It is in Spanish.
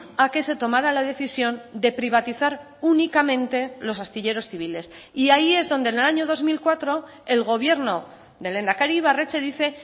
a que se tomara la decisión de privatizar únicamente los astilleros civiles y ahí es donde en el año dos mil cuatro el gobierno del lehendakari ibarretxe dice